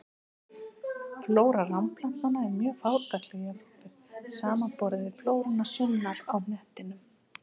Flóra ránplantna er mjög fátækleg í Evrópu, samanborið við flóruna sunnar á hnettinum.